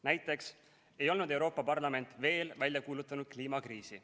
Näiteks ei olnud Euroopa Parlament veel välja kuulutanud kliimakriisi.